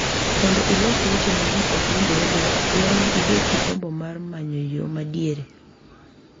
Mondo ilos weche ma ji ok winjrego dwaro ni ibed gi gombo mar manyo yo ma diere .